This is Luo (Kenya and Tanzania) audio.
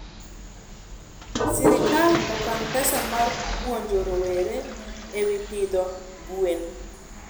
serikal okan pesa mar puonjo rowere ewi pidho gwen